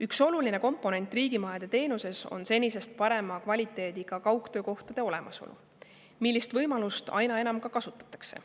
Üks oluline komponent riigimajade teenuses on senisest parema kvaliteediga kaugtöökohtade olemasolu ja seda võimalust aina enam ka kasutatakse.